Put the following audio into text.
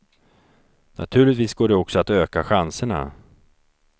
Naturligtvis går det också att öka chanserna.